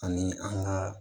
Ani an ka